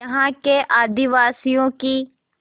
यहाँ के आदिवासियों की